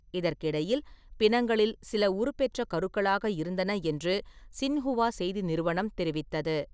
இதற்கிடையில், பிணங்களில் சில உருபெற்ற கருக்களாக இருந்தன என்று சின்ஹுவா செய்தி நிறுவனம் தெரிவித்தது.